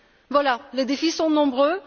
Voilà, les défis sont nombreux.